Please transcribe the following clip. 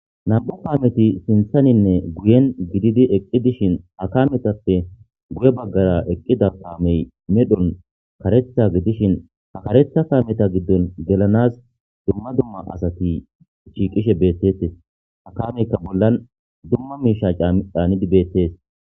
nam7u kaameti sinthaninne guyen gididi eqqi dishin akametappe guye baggara eqqida kaamey medhon karetha gidishin akaretha kaameta giddon gelanas dumma dumma asati shiiqishe beettetes akameykka bollan dumma miisha caanidi beettees